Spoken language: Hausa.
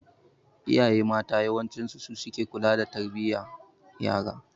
Iyaye mata yawanci suke ke kula da tarbiyan yara.